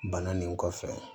Bana nin kɔfɛ